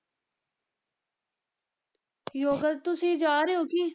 ਯੋਗਾ ਤੁਸੀਂ ਜਾ ਰਹੇ ਹੋ ਕੀ?